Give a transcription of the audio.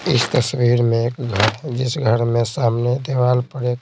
इस तस्वीर में घर जिस घर में सामने दीवार पड़े--